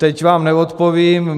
Teď vám neodpovím.